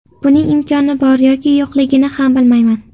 Buning imkoni bor yoki yo‘qligini ham bilmayman.